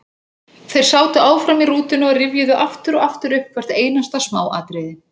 Tengsl eðlisviðnáms og jarðhita